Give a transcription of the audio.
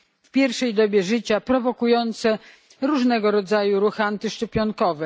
w pierwszej dobie życia, co prowokuje różnego rodzaju ruchy antyszczepionkowe.